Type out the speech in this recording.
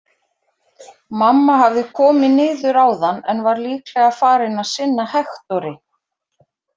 Mamma hafði komið niður áðan en var líklega farin að sinna Hektori.